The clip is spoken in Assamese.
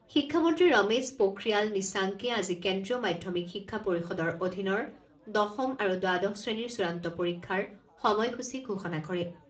শিক্ষামন্ত্ৰী ৰমেশ পোখ্ৰিয়াল নিশাংকে আজি কেন্দ্ৰীয় মাধ্যমিক শিক্ষা পৰিষদৰ অধীনৰ দশম আৰু দ্বাদশ শ্ৰেণীৰ চূড়ান্ত পৰীক্ষাৰ সময় সূচী ঘোষণা কৰে।